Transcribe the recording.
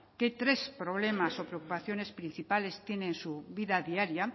qué tres problemas o preocupaciones principales tiene en su vida diaria